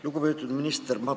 Lugupeetud minister!